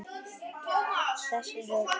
Þessu er alveg öfugt farið.